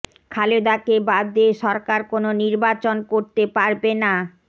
খালেদাকে বাদ দিয়ে সরকার কোনো নির্বাচন করতে পারবে না